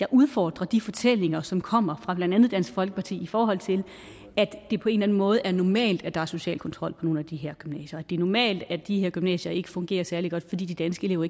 jeg udfordrer de fortællinger som kommer fra blandt andet dansk folkeparti i forhold til at det på en eller anden måde er normalt at der er social kontrol på nogle af de her gymnasier det er normalt at de her gymnasier ikke fungerer særlig godt fordi de danske elever